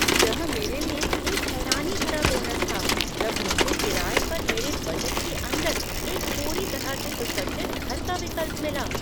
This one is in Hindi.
यह मेरे लिए एक हैरानी भरा बोनस था जब मुझे किराए पर मेरे बजट के अंदर एक पूरी तरह से सुसज्जित घर का विकल्प मिला।